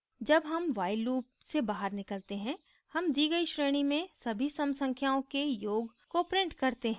जब sum while loop से बाहर निकलते हैं sum दी गई श्रेणी में सभी sum संख्याओं के योग को print करते हैं